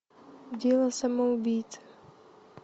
дело самоубийцы